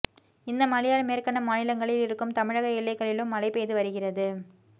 இந்த மழையால் மேற்கண்ட மாநிலங்களில் இருக்கும் தமிழக எல்லைகளிலும் மழை பெய்து வருகிறது